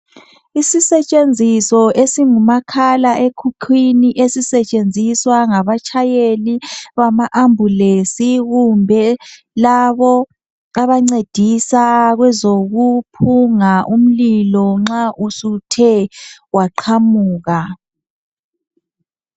Isisetshenziso esingumakhala enkukhwini ezisetshenziswa ngabatshayeli bama ambulensi kumbe labo abancedisa kwezokuphunga umlilo nxa kuthe kwaqamuka.